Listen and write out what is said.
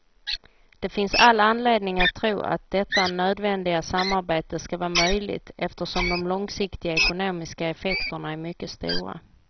Det finns all anledning att tro att detta nödvändiga samarbete skall vara möjligt eftersom de långsiktiga ekonomiska effekterna är mycket stora.